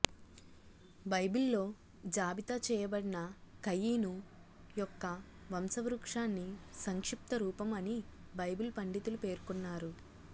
బైబిల్లో జాబితా చేయబడిన కయీను యొక్క వంశవృక్షాన్ని సంక్షిప్తరూపం అని బైబిలు పండితులు పేర్కొన్నారు